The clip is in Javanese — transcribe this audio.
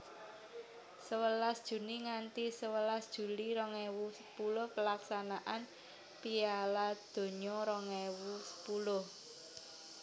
Sewelas Juni nganthi sewelas Juli rong ewu sepuluh Pelaksanaan Piala Donya rong ewu sepuluh